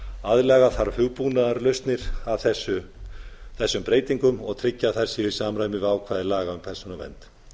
aðlaga þarf hugbúnaðarlausnir að þessum breytingum og tryggja að þær séu í samræmi við ákvæði laga um persónuvernd